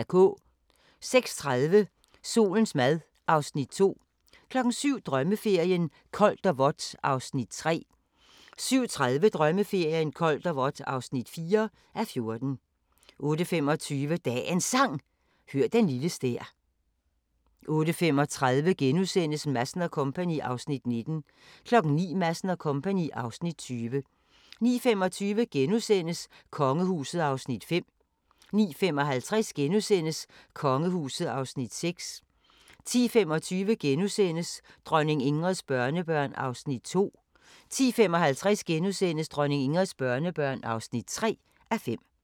06:30: Solens mad (Afs. 2) 07:00: Drømmeferien: Koldt og vådt (3:14) 07:30: Drømmeferien: Koldt og vådt (4:14) 08:25: Dagens Sang: Hør den lille stær 08:35: Madsen & Co. (Afs. 19)* 09:00: Madsen & Co. (Afs. 20) 09:25: Kongehuset (Afs. 5)* 09:55: Kongehuset (Afs. 6)* 10:25: Dronning Ingrids børnebørn (2:5)* 10:55: Dronning Ingrids børnebørn (3:5)*